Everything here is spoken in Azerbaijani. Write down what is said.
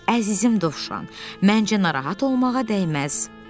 Əzizim Dovşan, məncə narahat olmağa dəyməz, Bayquş dedi.